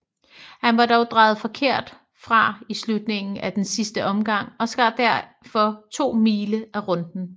Han var dog drejet forkert fra i slutningen af den sidste omgang og skar derfor 2 mile af runden